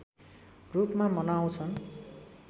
रूपमा मनाउँछन्